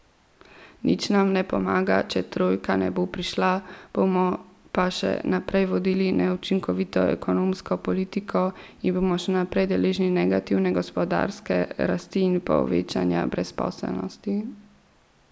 Nič nam ne pomaga, če trojka ne bo prišla, bomo pa še naprej vodili neučinkovito ekonomsko politiko in bomo še naprej deležni negativne gospodarske rasti in povečevanja brezposelnosti.